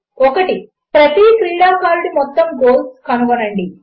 1 ప్రతి క్రీడాకారుడి మొత్తం గోల్స్ కనుగొనండి